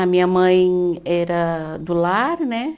A minha mãe era do lar, né?